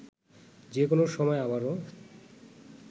যে কোনো সময় আবারও